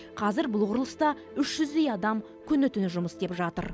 қазір бұл құрылыста үш жүздей адам күні түні жұмыс істеп жатыр